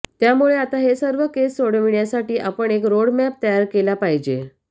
त्यामुळे आता हे सर्व केस सोडविण्यासाठी आपण एक रो़डमॅप तयार केला पाहिजे